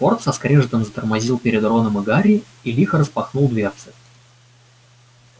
форд со скрежетом затормозил перед роном и гарри и лихо распахнул дверцы